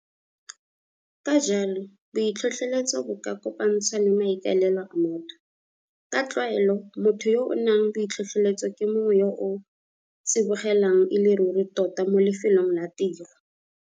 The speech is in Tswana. KA JALO BOITLHOTLHOLETSO BO KA KOPANTSHWA LE MAIKAELELO A MOTHO. KA TLWAELO MOTHO YO A NANG BOITLHOTLHOLETSO KE MONGWE YO A TSIBOGELANG E LE RURI TOTA MO LEFELONG LA TIRO.